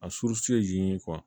A suru ye